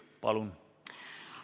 Palun!